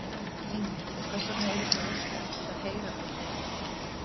Heimir: Og hvers eruð þið að óska eftir að heyra frá þeim?